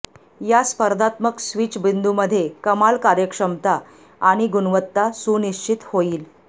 या स्पर्धात्मक स्विच बिंदू मध्ये कमाल कार्यक्षमता आणि गुणवत्ता सुनिश्चित होईल